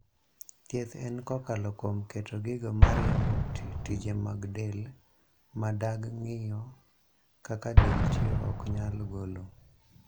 Thieth en kokalo kuom keto gigo ma riembo tije mag del .ma dag ng'iyo kaka del tiyo ok nyal golo.